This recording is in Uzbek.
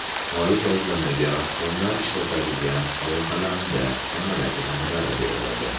Shoyi gazlamaga rassomlar ishlatadigan mo‘yqalamda kamalak ranglari beriladi.